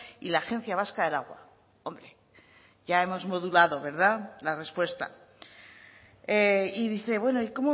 y la agencia vasca del agua hombre ya hemos modulado verdad la respuesta y dice bueno y